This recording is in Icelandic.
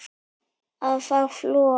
að fá flog